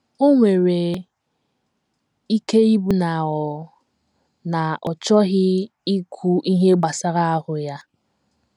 O nwere ike ịbụ na ọ na ọ chọghị ikwu ihe gbasara ahụ́ ya.